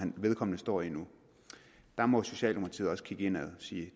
vedkommende står i nu der må socialdemokratiet også kigge indad og sige